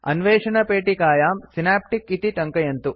अन्वेषणपेटिकायां Synaptic इति टङ्कयन्तु